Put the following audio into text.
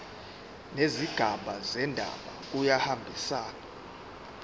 nezigaba zendaba kuyahambisana